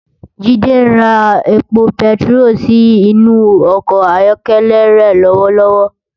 Jide n rá épó pètiró si inú òkò áyòkèlè re lòwòlòwò